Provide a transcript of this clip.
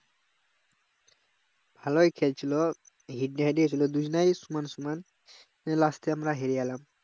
ভালোই খেলছিল হিড্ডা হিদ্দি ছিল দুজনাই সমান সমান last এ আমরা হেরে গেলাম